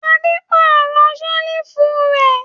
Adé pàrọ̀ ṣẹ́lífù rẹ̀